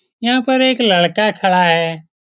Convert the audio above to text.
यहां पर एक लड़का खड़ा है।